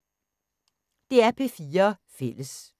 DR P4 Fælles